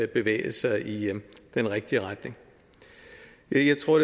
bevæget sig i den rigtige retning jeg tror